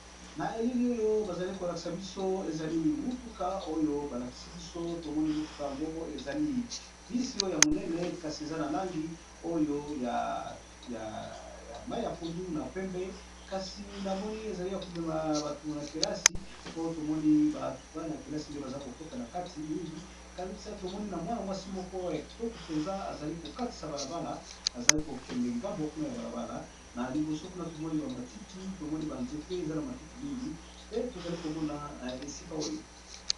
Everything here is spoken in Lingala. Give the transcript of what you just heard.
Na elili oyo ba zali ko lakisa biso ezali motuka oyo ba lakisi biso to moni motuka yango ezali bus oyo ya monene, kasi eza na langi oyo ya mayi ya pondu na pembe . Kasi na moni ezali ya ko mema batu na kelasi po to moni batu bana kelasi nde baza ko kota na kati mingi kasi to moni na mwana mwasi moko ya kitoko penza azali ko katisa balabala azali ko kende ngambo kuna ya balabala na liboso kuna tomoni, ba matiti tomoni ba nzete . Eza na matiti mingi te, to zali ko mona na esika oyo .